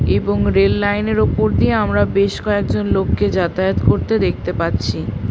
এবং rail line -এর উপর দিয়ে আমরা বেশ কয়েকজন লোককে যাতায়াত করতে দেখতে পাচ্ছি ।